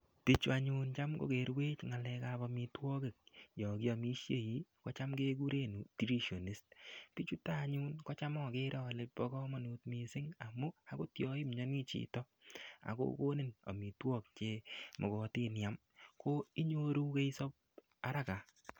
Bichu anyun cham kokerwech ng'alekab omitwokik yo kiomishei kocham kekure nutritionist bichuton anyun kocham agere ale bo komonut mising' amun akot yo imyoni chito akokonin omitwok chemokotin iam ko inyoru keisop haraka